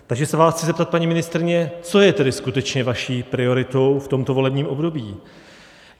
Takže se vás chci zeptat, paní ministryně, co je tedy skutečně vaší prioritou v tomto volebním období.